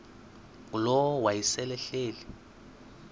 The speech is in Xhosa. ngulowo wayesel ehleli